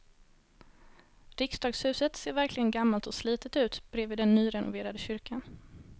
Riksdagshuset ser verkligen gammalt och slitet ut bredvid den nyrenoverade kyrkan.